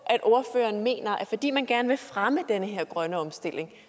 at ordføreren mener at fordi man gerne vil fremme den her grønne omstilling